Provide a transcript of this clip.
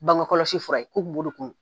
Bangekɔlɔsi fura ye , ko